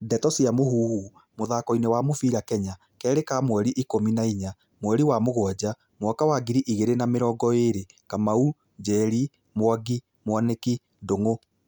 Ndeto cia Mũhuhu, mũthakoini wa mũbĩra Kenya, Kerĩ ka mweri ikũmi na inya, mweri wa mũgwaja, mwaka wa ngiri igĩrĩ na mĩrongo ĩrĩ:Kanau, Njeri, Mwangi, Mwaniki, Ndungu.